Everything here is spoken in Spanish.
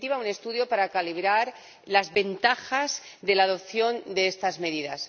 En definitiva, un estudio para calibrar las ventajas de la adopción de estas medidas.